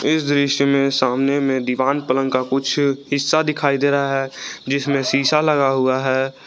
इस दृश्य में सामने में दीवान पलंग का कुछ हिस्सा दिखाई दे रहा है जिसमें शीशा लगा हुआ है।